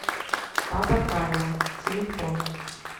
папа карло телефон